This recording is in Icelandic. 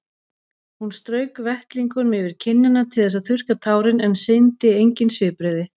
Hún strauk vettlingnum yfir kinnina til þess að þurrka tárin en sýndi engin svipbrigði.